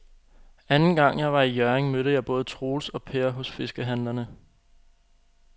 Anden gang jeg var i Hjørring, mødte jeg både Troels og Per hos fiskehandlerne.